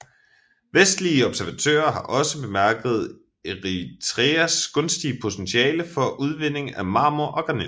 Vestlige observatører har også bemærket Eritreas gunstige potentiale for udvinding af marmor og granit